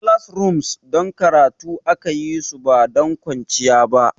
Classrooms don karatu aka yi su ba don kwanciya ba.